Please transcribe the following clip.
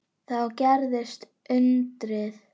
Þá gerðist undrið.